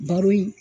Baro in